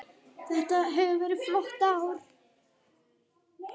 Þetta hefur verið flott ár.